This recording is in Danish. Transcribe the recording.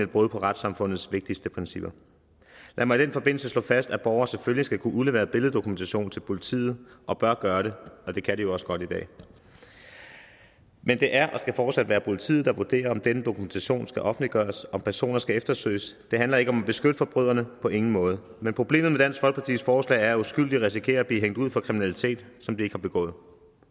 brud på retssamfundets vigtigste principper lad mig i den forbindelse slå fast at borgere selvfølgelig skal kunne udlevere billeddokumentation til politiet og bør gøre det og det kan de jo også godt i dag men det er og skal fortsat være politiet der vurderer om denne dokumentation skal offentliggøres og om personer skal eftersøges det handler ikke om at beskytte forbryderne på ingen måde men problemet med dansk folkepartis forslag er at uskyldige risikerer at blive hængt ud for kriminalitet som de ikke har begået